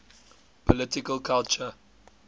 political culture